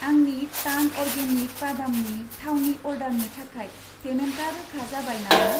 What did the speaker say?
आंनि टार्न अर्गेनिक बादामनि थाव नि अर्डारनि थाखाय पेमेन्टा रोखा जाबाय नामा?